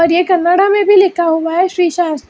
यह कन्नड़ा में भी लिखा हुआ है श्री सस्ता।